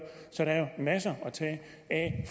så der er masser at tage af